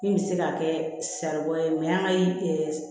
Min bɛ se ka kɛ saribɔn ye an ka